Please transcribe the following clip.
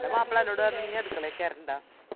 ഇന്റെ മാപ്പള എന്നോട് പറഞ്ഞ ഇഞ്ഞി അടുക്കളെ കേറണ്ട